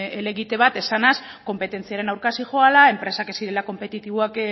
helegite bat esanez konpetentziaren aurka zihoala enpresak ez direla konpetitiboak